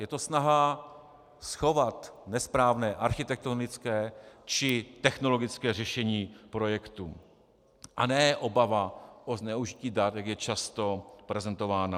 Je to snaha schovat nesprávné architektonické či technologické řešení projektu, a ne obava o zneužití dat, jak je často prezentována.